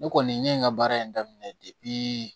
Ne kɔni ne ye n ka baara in daminɛ